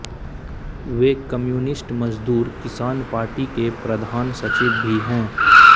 वे communist मज़दूर किसान party के प्रधान सचिव भी हैं